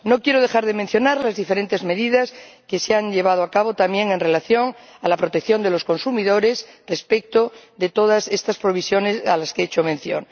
No quiero dejar de mencionar las diferentes medidas que se han llevado a cabo también en relación con la protección de los consumidores respecto de todas estas disposiciones a las que hecho mención.